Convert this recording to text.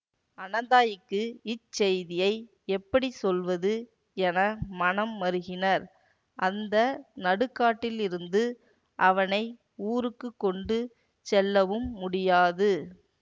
அனந்தாயிக்கு இச்செய்தியை எப்படி சொல்வது என மனம் மருகினர் அந்த நடுக்காட்டிலிருந்து அவனை ஊருக்கு கொண்டு செல்லவும் முடியாது